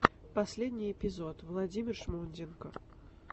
последний эпизод владимир шмонденко